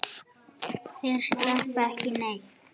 Þeir sleppa ekki neitt.